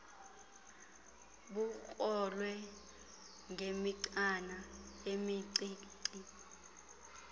bukrolwe ngemigcana emincinci